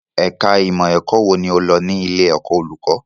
Ẹ̀ka ìmọ̀ ẹ̀kọ́ wo lo lọ ní ilé ẹ̀kọ́ olùkọ́?